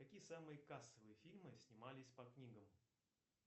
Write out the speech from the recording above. какие самые кассовые фильмы снимались по книгам